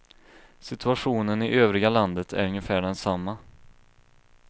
Situationen i övriga landet är ungefär densamma.